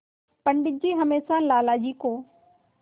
पंडित जी हमेशा लाला जी को